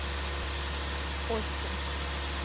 остин